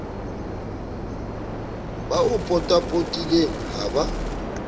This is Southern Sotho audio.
ba o potapotileng ha ba